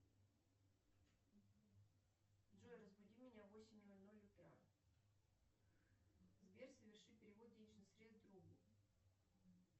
джой разбуди меня в восемь ноль ноль утра сбер соверши перевод денежных средств другу